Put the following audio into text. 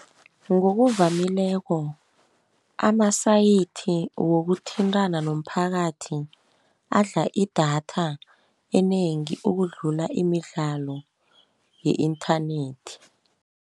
Ngokuvamileko amasayithi wokuthintana nomphakathi adla idatha enengi, ukudlula imidlalo ye-inthanethi.